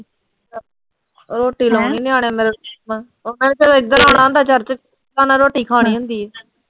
ਹੋਰ ਤੂੰ ਲਾਉਣੀ ਆ ਹਲੇ ਇਧਰ ਆਉਣਾ ਹੁੰਦਾ ਚੜ੍ਹ ਕੇ ਰੋਟੀ ਖਾਣੀ ਹੁੰਦੀ ਐ।